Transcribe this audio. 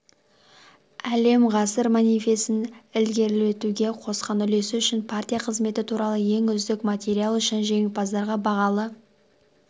әлем ғасыр манифесін ілгерілетуге қосқан үлесі үшін партия қызметі туралы ең үздік материал үшін жеңімпаздарға бағалы